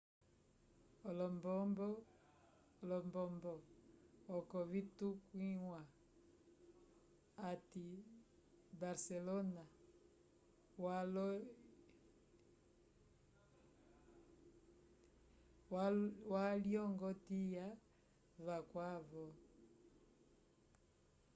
olombobo oko vitukwiwa ati barcelona walyongotya vacwavo